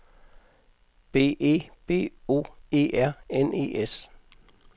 B E B O E R N E S